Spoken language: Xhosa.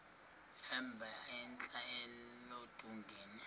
emba entla eludongeni